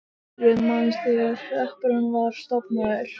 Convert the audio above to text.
Þar voru yfir tvö hundruð manns þegar hreppurinn var stofnaður.